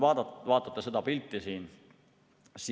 Vaadake seda pilti siin.